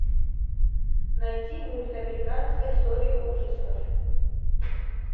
найти мульт американская история ужасов